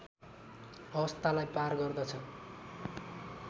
अवस्थालाई पार गर्दछ